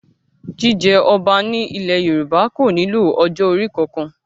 Jíjẹ ọba ní ilẹ̀ Yorùbá kò nílò ọjọ́ orí kankan